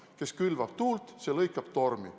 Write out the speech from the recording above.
Kes külvab tuult, see lõikab tormi.